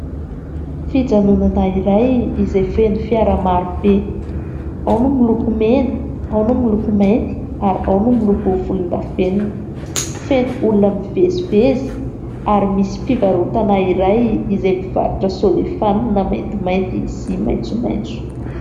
Fijanonana iray izay feno fiara maro be, ao ny miloko mena, ao ny miloko mainty, ary ao ny miloko volondavenona. Feno olona mivezivezy ; ary misy fivarotana iray izay mivarotra solefanina maintimainty sy maitsomaitso.